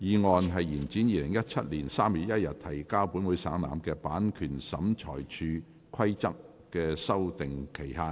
第二項議案：延展於2017年3月1日提交本會省覽的《版權審裁處規則》的修訂期限。